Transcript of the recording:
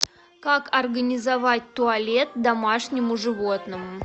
как организовать туалет домашнему животному